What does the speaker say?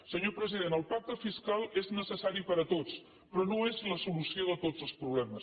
senyor president el pacte fiscal és necessari per a tots però no és la solució de tots els problemes